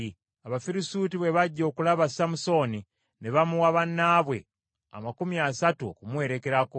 Abafirisuuti bwe bajja okulaba Samusooni, ne bamuwa bannaabwe amakumi asatu okumuwerekerako.